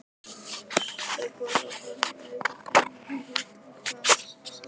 Þau borða þar og eyða deginum í hita og glaðasólskini.